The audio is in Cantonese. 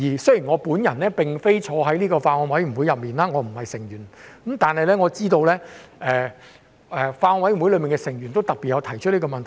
雖然我沒有列席相關法案委員會會議，我不是有關委員，但我知道法案委員會內的委員亦有特別提出這個問題。